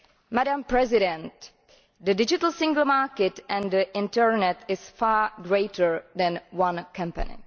Madam President, the Digital Single Market and the internet are far greater than one company.